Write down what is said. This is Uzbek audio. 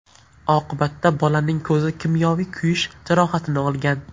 Oqibatda bolaning ko‘zi kimyoviy kuyish jarohatini olgan.